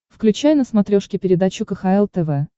включай на смотрешке передачу кхл тв